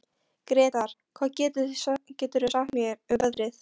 Gretar, hvað geturðu sagt mér um veðrið?